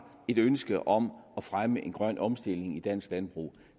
ønske om at fremme en grøn omstilling i dansk landbrug